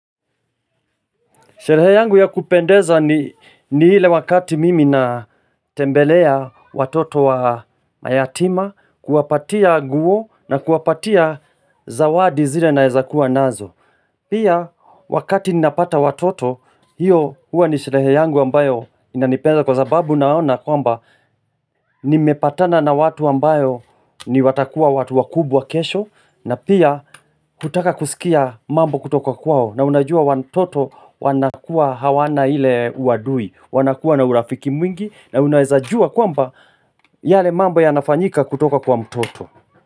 Sherehe yangu ya kupendeza ni ni ile wakati mimi na tembelea watoto wa mayatima, kuwapatia nguo na kuwapatia zawadi zile naweza kuwa nazo. Pia wakati ninapata watoto, hiyo huwa ni sherehe yangu ambayo inanipenza kwa zababu naona kwamba nimepatana na watu ambayo ni watakuwa watu wa kubwa kesho na pia kutaka kusikia mambo kutoko kwao. Na unajua wantoto wanakua hawana ile uadui wanakua na urafiki mwingi na unaweza jua kwamba yale mambo ya nafanyika kutoka kwa mtoto.